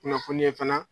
Kunnafoniya fana